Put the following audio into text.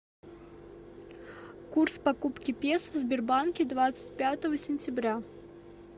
курс покупки песо в сбербанке двадцать пятого сентября